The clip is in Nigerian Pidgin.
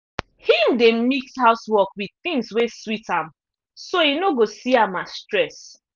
him dey mix housework with things wey sweet am so e no go see am as stress.